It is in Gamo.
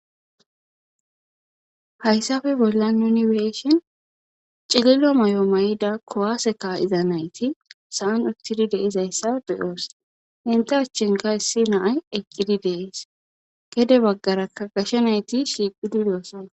Hayssape bolla nuni beeshen cililo may7o may7ida kowaaseka diza nayti sa7an uttidi deizayssa beyoos enta achchenka issi naay eqqidi deees gede baggarakka gashe nayti shiqidideosana.